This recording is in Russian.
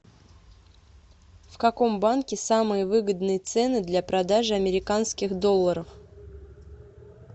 в каком банке самые выгодные цены для продажи американских долларов